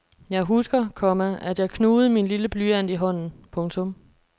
Jeg husker, komma at jeg knugede min lille blyant i hånden. punktum